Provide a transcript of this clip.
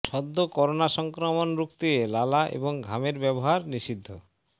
সদ্য করোনা সংক্রমণের রুখতে লালা এবং ঘামের ব্যবহার নিষিদ্ধ